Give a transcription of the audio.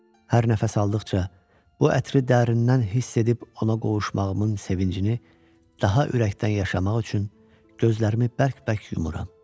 Hər nəfəs aldıqca bu ətri dərindən hiss edib ona qovuşmağımın sevincini daha ürəkdən yaşamaq üçün gözlərimi bərk-bərk yumuram.